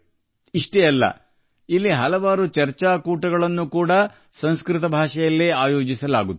ಅಷ್ಟೇ ಅಲ್ಲ ಸಂಸ್ಕೃತದಲ್ಲಿ ಅನೇಕ ಚರ್ಚಾ ಕಲಾಪಗಳನ್ನು ಆಯೋಜಿಸುತ್ತಿದ್ದಾರೆ